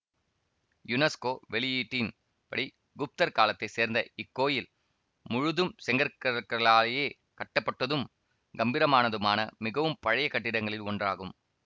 UNESCO வெளியீட்டின் படி குப்தர் காலத்தை சேர்ந்த இக் கோயில் முழுதும் செங்கற்களாயே கட்டப்பட்டதும் கம்பீரமானதுமான மிகவும் பழைய கட்டிடங்களில் ஒன்றாகும்